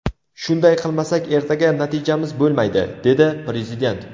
Shunday qilmasak ertaga natijamiz bo‘lmaydi”, dedi Prezident.